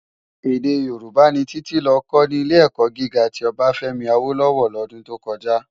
Èdè Yorùbá ni Titi lò kò ni Ilé-èkò gigá ti Obafemi Awolowo lòdún tó kòjá